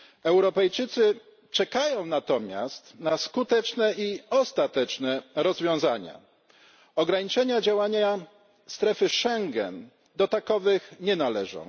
Europejczycy czekają natomiast na skuteczne i ostateczne rozwiązania, ograniczenia działania strefy Schengen do takowych nie należą.